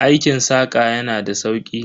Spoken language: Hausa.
Aikin saƙa yana da sauki.